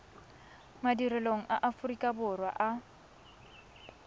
madirelong a aforika borwa a